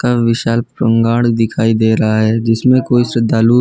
और विशाल पंगाण दिखाई दे रहा है जिसमें कोई श्रद्धालु --